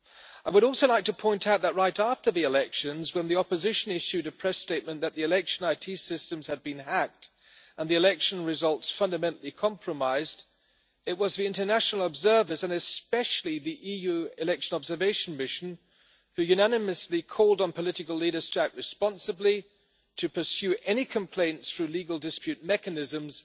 I would also like to point out that right after the elections when the opposition issued a press statement that the election IT systems had been hacked and the election results fundamentally compromised, it was the international observers, and especially the EU election observation mission, who unanimously called on political leaders to act responsibly, to pursue any complaints through legal dispute mechanisms,